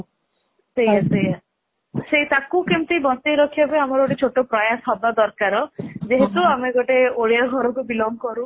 ସେଇଆ ସେଇଆ ସେ ଟାକୁ କେମିତି ବଛେଇ ରଖିବା ପାଇଁ ଆମର ଗୋଟେ ଛୋଟ ପ୍ରୟାସ ହବା ଦରକାର ଯେହେତୁ ଆମେ ଗୋଟେ ଓଡିଆ ଘରୁ belong କରୁ